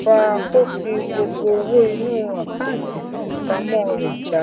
fa kó fi gbogbo owó inú àkántì fífipamọ rẹ já